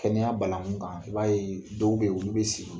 Kɛnɛya banaŋu kan, i b'a ye dɔw be ye, olu be sigi.